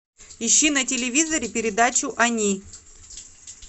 ищи на телевизоре передачу они